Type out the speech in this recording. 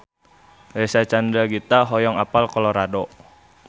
Reysa Chandragitta hoyong apal Colorado